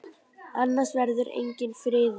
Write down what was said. Annars verður enginn friður.